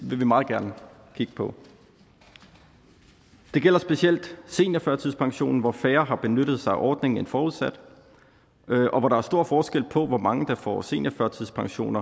vil vi meget gerne kigge på det gælder specielt seniorførtidspensionen hvor færre har benyttet sig af ordningen end forudsat og hvor der er stor forskel på hvor mange der får seniorførtidspension